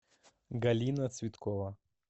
галина цветкова